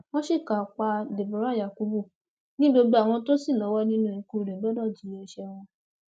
wọn ṣìkà pa deborah yakubu ni gbogbo àwọn tó ṣì lọwọ nínú ikú rẹ gbọdọ jìyà ẹṣẹ wọn